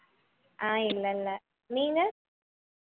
அஹ் இல்லை இல்லை நீங்க